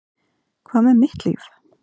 Hvað með mitt líf?